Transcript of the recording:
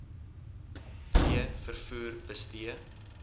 v vervoer bestee